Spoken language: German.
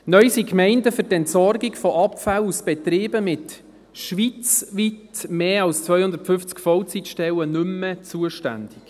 Neu sind die Gemeinden für die Entsorgung von Abfällen aus Betrieben mit schweizweit mehr als 250 Vollzeitstellen nicht mehr zuständig.